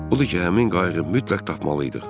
Odur ki, həmin qayığı mütləq tapmalı idik.